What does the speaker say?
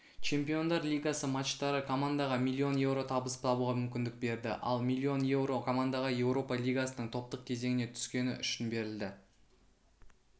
чемпиондар лигасы матчтары командаға миллион еуро табыс табуға мүмкіндік берді ал миллион еуро командаға еуропа лигасының топтық кезеңіне түскені үшін берілді